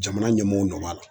Jamana ɲɛmɔgɔw nɔ b'a la